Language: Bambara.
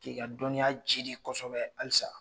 K'i ka dɔnniya jidi kosɛbɛ halisa.